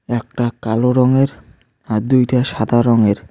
একটা কালো রঙের আর দুইটা সাদা রঙের।